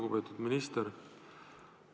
Lugupeetud minister!